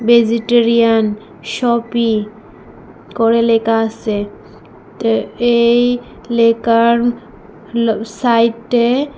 vegetarian শপি করে লেখা আসে তে এই লেখার ল সাইটে--